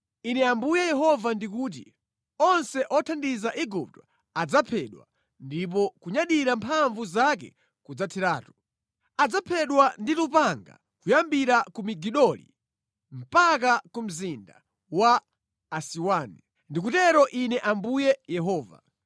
“ ‘Ine Ambuye Yehova ndikuti: “ ‘Onse othandiza Igupto adzaphedwa ndipo kunyadira mphamvu zake kudzatheratu. Adzaphedwa ndi lupanga kuyambira ku Migidoli mpaka ku mzinda wa Asiwani,’ ” ndikutero Ine Ambuye Yehova.